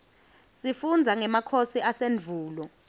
sifundza ngemakhosi asendvulo